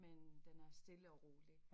Men den er stille og rolig